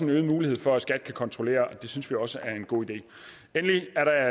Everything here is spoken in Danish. øget mulighed for at skat kan kontrollere og det synes vi også er en god idé endelig er der